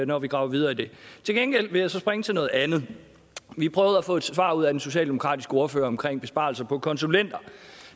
når vi graver videre i det til gengæld vil jeg så springe til noget andet vi prøvede at få et svar ud af den socialdemokratiske ordfører omkring besparelser på konsulenter og